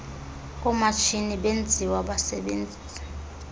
komatshini benziwa basebenzisa